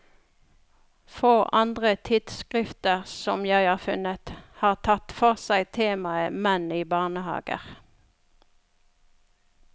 Få andre tidsskrifter, som jeg har funnet, har tatt for seg temaet menn i barnehager.